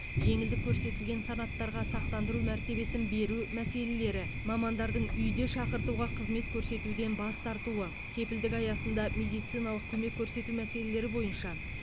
жеңілдік көрсетілген санаттарға сақтандыру мәртебесін беру мәселелері мамандардың үйде шақыртуға қызмет көрсетуден бас тартуы кепілдік аясында медициналық көмек көрсету мәселелері бойынша